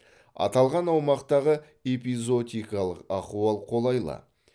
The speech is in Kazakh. аталған аумақтағы эпизоотикалық ахуал қолайлы